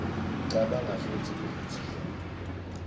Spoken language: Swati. kucabanga futsi ivutsiwe